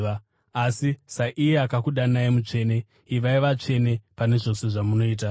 Asi saiye akakudanai mutsvene, ivai vatsvene pane zvose zvamunoita;